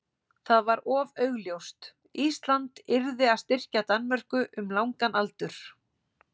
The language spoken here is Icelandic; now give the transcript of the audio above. það var of augljóst: Ísland yrði að styrkja Danmörku um langan aldur.